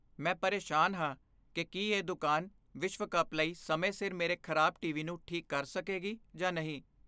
ਮੈਂ ਪਰੇਸ਼ਾਨ ਹਾਂ ਕਿ ਕੀ ਇਹ ਦੁਕਾਨ ਵਿਸ਼ਵ ਕੱਪ ਲਈ ਸਮੇਂ ਸਿਰ ਮੇਰੇ ਖਰਾਬ ਟੀਵੀ ਨੂੰ ਠੀਕ ਕਰ ਸਕੇਗੀ ਜਾਂ ਨਹੀਂ।